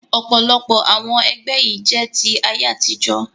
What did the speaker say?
Ọ̀pọ̀lọpọ̀ àwọn ẹgbẹ́ yìí jẹ́ ti ayé àtijọ́